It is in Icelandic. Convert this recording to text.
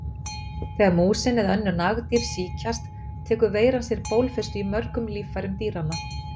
Þegar músin eða önnur nagdýr sýkjast tekur veiran sér bólfestu í mörgum líffærum dýranna.